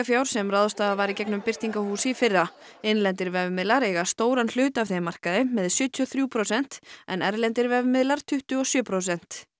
auglýsingafjár sem ráðstafað var í gegnum birtingahús í fyrra innlendir vefmiðlar eiga stóran hluta af þeim markaði með sjötíu og þrjú prósent en erlendir vefmiðlar tuttugu og sjö prósent